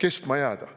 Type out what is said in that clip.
kestma jääda.